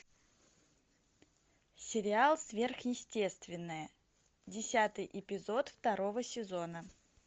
сериал сверхъестественное десятый эпизод второго сезона